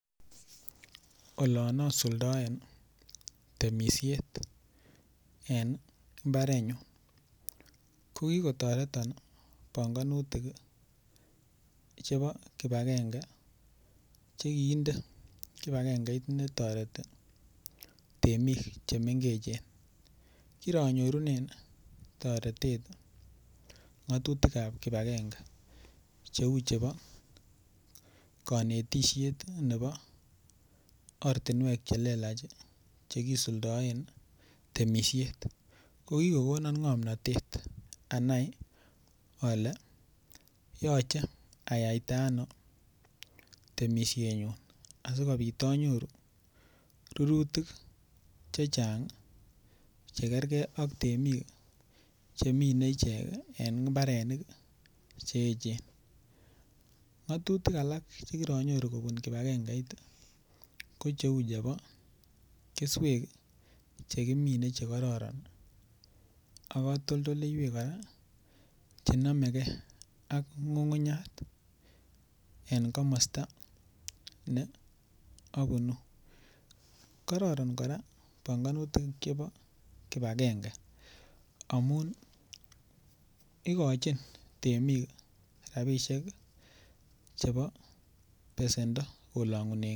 Olon asuldoen ii temisiet en imbarenyun ko kikotoreton ii banganutik ii chebo kibagenge che kiinde kibagengeit ne toreti temik che mengechen, kironyorunen ii toretet ngatutikab kibagenge cheu chebo, kanetisiet nebo ortinwek che lelach ii che kisuldoen ii temisiet, ko kikokonon ngomnotet anai ale yoche ayaita ano temisienyun asikobit anyoru rurutik che chang ii che kerkei ak temik ii chemine ichek eng imbarenik ii che echen, ngatutik alak che kiranyoru kobun kibagengeit ii, ko cheu chebo keswek che kimine che kororon ak katoldoleiwek kora che nomekei ak ngungunyat en komasta ne abunu, kororon kora banganutik chebo kibagenge amun, ikochin temik rabiisiek chebo besendo kolongunenkei.